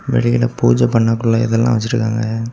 வெளியில பூஜை பண்ணக்குள்ள இதெல்லாம் வெச்சிருக்காங்க.